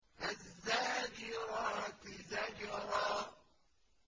فَالزَّاجِرَاتِ زَجْرًا